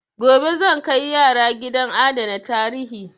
Gobe zan kai yara gidan adana tarihi.